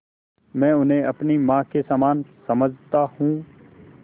मैं उन्हें अपनी माँ के समान समझता हूँ